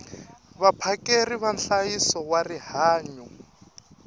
vaphakeri va nhlayiso wa rihanyo